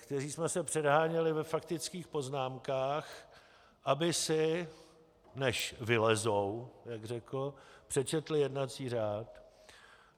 Kteří jsme se předháněli ve faktických poznámkách, aby si, než vylezou, jak řekl, přečetli jednací řád.